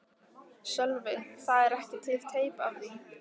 Sölvi: Það er ekki til teip af því?